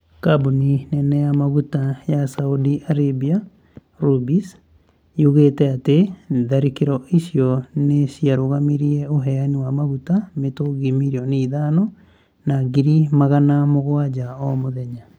Kambuni nene ya maguta ya Saudi Arabia, Rubis, yugĩte atĩ tharĩkĩro icio nĩ ciarũgamĩrie ũheani wa maguta mĩtungi milioni ithano na ngiri magana mũgwaja o mũthenya.